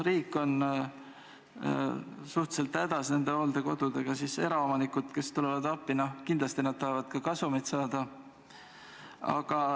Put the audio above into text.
Riik on suhteliselt hädas nende hooldekodudega, aga eraomanikud, kes appi tulevad, tahavad kindlasti ka kasumit saada.